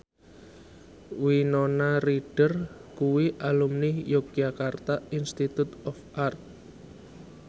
Winona Ryder kuwi alumni Yogyakarta Institute of Art